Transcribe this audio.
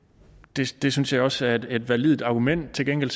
det synes jeg også er et validt argument til gengæld